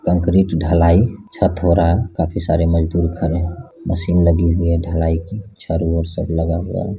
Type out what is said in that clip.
Concrete ढलाई छत हो रहा है काफी सारे मजदूर खड़े हैं मशीन लगी हुई है ढलाई की चारों ओर सब लगा हुआ है।